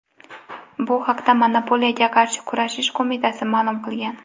Bu haqda Monopoliyaga qarshi kurashish qo‘mitasi ma’lum qilgan .